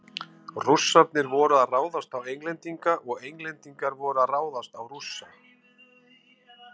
Rússarnir voru að ráðast á Englendinga og Englendingar voru að ráðast á Rússa.